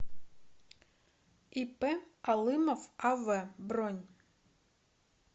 ип алымов ав бронь